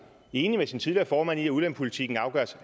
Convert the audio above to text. enig med sin tidligere formand i at udlændingepolitikken